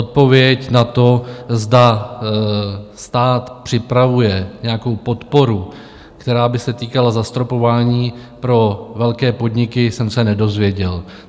Odpověď na to, zda stát připravuje nějakou podporu, která by se týkala zastropování pro velké podniky, jsem se nedozvěděl.